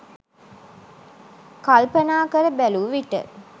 කල්පනා කර බැලූ විට